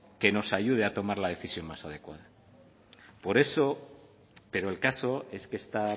que no ayude a tomar la decisión más adecuada por eso pero el caso es que esta